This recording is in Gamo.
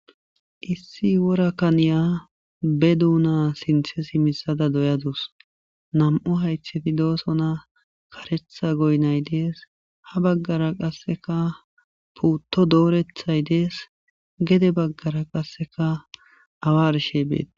Issi wora kaniya be duuna sinththe simisada doyadus. Nami'u haytheti doosona, karetha goynay dees, ha baggara qasseka puutto doorethay dees gede baggara qasseka awa arshe beet.